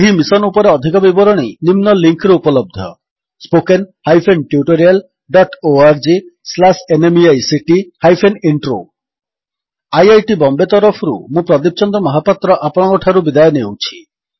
ଏହି ମିଶନ୍ ଉପରେ ଅଧିକ ବିବରଣୀ ନିମ୍ନ ଲିଙ୍କ୍ ରେ ଉପଲବ୍ଧ spoken hyphen tutorial dot O R G slash N M E I C T hyphen intro spoken tutorialorgnmeict intro IIT Bombay ତରଫରୁ ମୁଁ ପ୍ରଦୀପ ଚନ୍ଦ୍ର ମହାପାତ୍ର ଆପଣଙ୍କଠାରୁ ବିଦାୟ ନେଉଛି